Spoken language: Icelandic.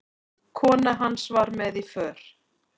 Kona hans var með í för.